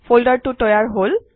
ফল্ডাৰটো তৈয়াৰ হল